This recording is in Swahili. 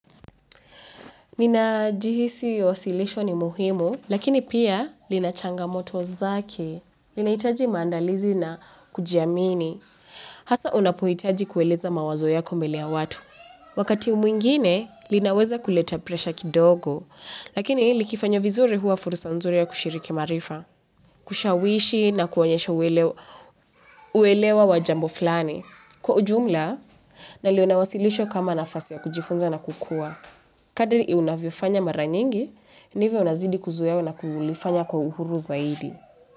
Ninajihisi osilisho ni muhimu, lakini pia lina changamoto zake, linahitaji maandalizi na kujiamini. Hasa unapohitaji kueleza mawazo yako mbele ya watu. Wakati mwingine, linaweza kuleta presha kidogo, lakini likifanywa vizuri huwa fursa nzuri ya kushiriki maarifa, kushawishi na kuwaonyesho uelewa wa jambo fulani. Kwa ujumla, naliona wasilisho kama nafasi ya kujifunza na kukua. Kadiri unavyofanya mara nyingi, ndivyo unazidi kuzoea na kulifanya kwa uhuru zaidi.